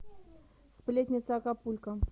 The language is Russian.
сплетница акапулько